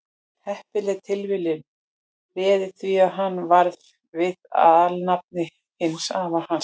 heppileg tilviljun réði því að hann varð við það alnafni hins afa síns